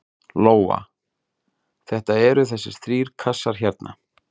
Lóa: Þetta eru þessir þrír kassar hérna?